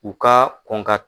U ka kɔn ka